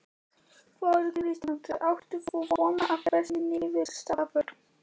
Þóra Kristín: Áttir þú von á þessari niðurstöðu?